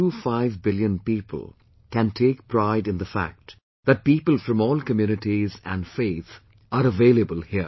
25 billion people can take pride in the fact that people from all communities and faith are available here